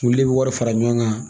Olu bɛ wari fara ɲɔgɔn kan